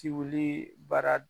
Tiwlii baara